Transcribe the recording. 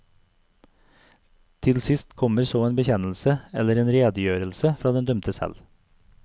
Til sist kommer så en bekjennelse eller en redegjørelse fra den dømte selv.